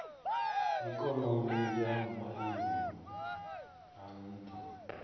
ikonomi ya maiimo a nha